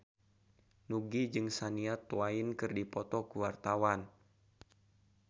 Nugie jeung Shania Twain keur dipoto ku wartawan